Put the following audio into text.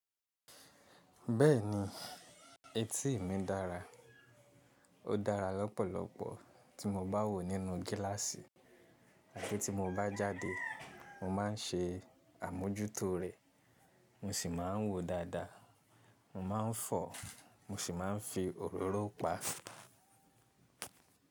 Bẹ́ẹ̀ni etí mi dára, ó dára lọ́pọ̀lọpọ̀ tí mo bá wò ó nínú gíláàsì àti tí mo bá jáde mo má n ṣe àmójútó rẹ̀, mo sì má n wò ó dáadáa, mo má n fọ̀ o, mo sì má n fi òróró pa.